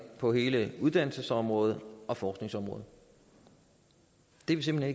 på hele uddannelsesområdet og forskningsområdet det er vi simpelt